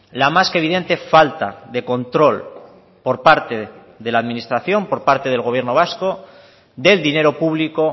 la más que evidente falta de control por parte de la administración por parte del gobierno vasco del dinero público